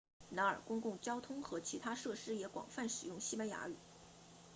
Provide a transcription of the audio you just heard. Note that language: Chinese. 然而公共交通和其他设施也广泛使用西班牙语